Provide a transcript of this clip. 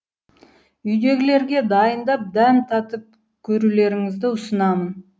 үйдегілерге дайындап дәм татып көрулеріңізді ұсынамын